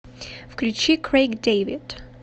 включи крэйг дэвид